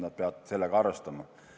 Nad peavad sellega arvestama.